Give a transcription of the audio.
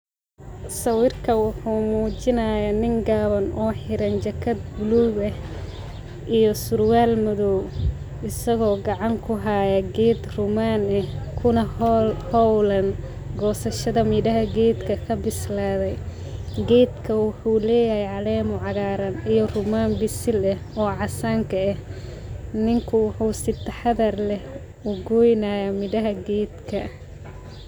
Sawirka wuxuu mujiinayaa nin gaawan o xiraan jakaad buluug ah iyo surwaal madhoow, isagoo gacan kuhaayo geed rumaan ah kunaa hoolan gosashaada geedaka miiraha leh, geedka wuxuu leyahay caleemo cagaaran iyo rumaan biisiin eh o caasanka eh, ninkuu wuxuu sii taxadhaar leh ogoynayaa miiraha geedka.